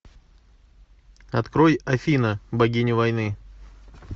открой афина богиня войны